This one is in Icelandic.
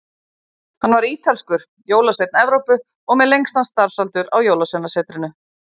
Hann var ítalskur, jólasveinn Evrópu, og með lengstan starfsaldur á Jólasveinasetrinu.